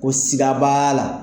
Ko siga b'a la.